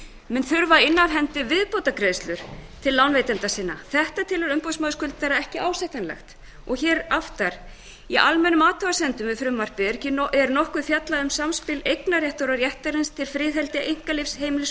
mun þurfa að inna af hendi viðbótargreiðslur til lánveitenda sinna þetta telur umboðsmaður skuldara ekki ásættanlegt og aftar í almennum athugasemdum við frumvarpið er nokkuð fjallað um samspil eignarréttar á réttinum til friðhelgi einkalífs heimilis og